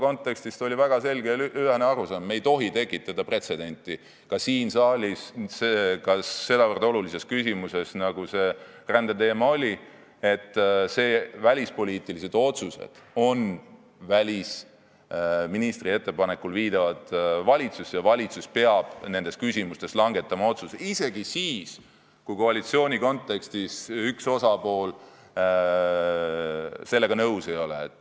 Reformierakonnal oli väga selge ja ühene arusaam: me ei tohi siin saalis tekitada pretsedenti sedavõrd olulises küsimuses, nagu rändeteema oli, välispoliitilised otsused on välisministri ettepanekul viidavad valitsusse ja valitsus peab nendes küsimustes langetama otsuse, isegi siis, kui koalitsiooni kontekstis üks osapool sellega nõus ei ole.